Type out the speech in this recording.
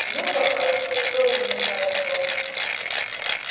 много хорошо тоже нехорошо